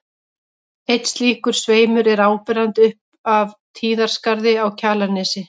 Einn slíkur sveimur er áberandi upp af Tíðaskarði á Kjalarnesi.